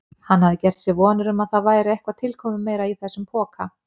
Hann hafði gert sér vonir um að það væri eitthvað tilkomumeira í þessum poka.